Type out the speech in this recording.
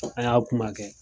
An y'a kuma kɛ.